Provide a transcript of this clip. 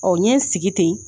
N ɲe n sigi ten